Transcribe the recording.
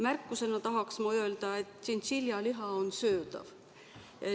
Märkusena tahan veel öelda, et tšintšiljaliha on söödav.